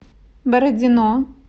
бородино